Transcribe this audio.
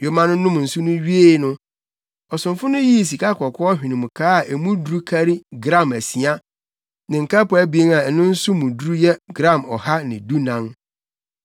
Yoma no nom nsu no wiee no, ɔsomfo no yii sikakɔkɔɔ hwenemkaa a emu duru kari gram asia ne nkapo abien a ɛno nso mu duru yɛ gram ɔha dunan.